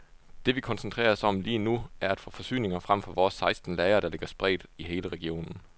Det vi koncentrerer os om lige nu, er at få forsyninger frem fra vores seksten lagre, der ligger spredt i hele regionen.